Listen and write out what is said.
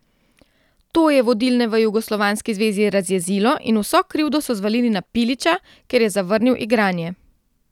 To je vodilne v jugoslovanski zvezi razjezilo in vso krivdo so zvalili na Pilića, ker je zavrnil igranje.